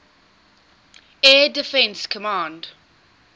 air defense command